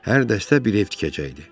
Hər dəstə bir ev tikəcəkdi.